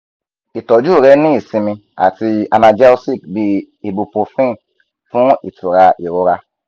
itọju re ni isinmi ati analgesic bi ibuprofen fun itura irora